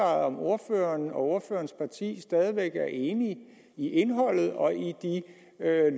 om ordføreren og ordførerens parti stadig væk er enige i indholdet og i de